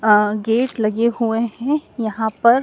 अह gate लगे हुए है यहां पर--